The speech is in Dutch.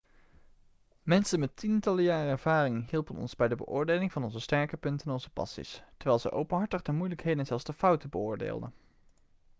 mensen met tientallen jaren ervaring hielpen ons bij de beoordeling van onze sterke punten en onze passies terwijl zij openhartig de moeilijkheden en zelfs de fouten beoordeelden